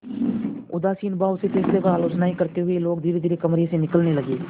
उदासीन भाव से फैसले पर आलोचनाऍं करते हुए लोग धीरेधीरे कमरे से निकलने लगे